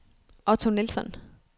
Otto Nilsson